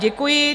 Děkuji.